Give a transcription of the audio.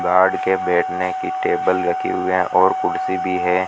Guard के बैठने की टेबल रखी हुई हैं और कुर्सी भी है।